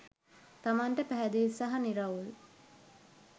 තමන්ට පැහැදිළි සහ නිරවුල්